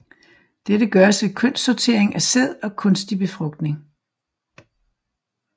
Dette gøres ved kønssortering af sæd og kunstig befrugtning